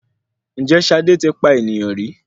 Ǹjẹ́ Ṣadé ti pa eniyan rí.